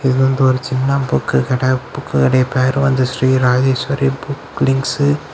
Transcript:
இது வந்து ஒரு சின்ன புக்கு கடை புக்கு கடை பேரு வந்து ஶ்ரீ ராஜேஸ்வரி புக் லிங்க்ஸ் .